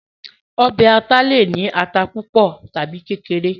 ọbẹ̀ aláta le è ní ata púpọ̀ tàbi kékeré